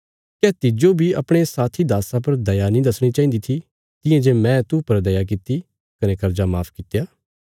क्या तिज्जो बी अपणे साथी दास्सा पर दया नीं दसणी चाहिन्दी थी तियां जे मैं तू पर दया किति कने कर्जा माफ कित्या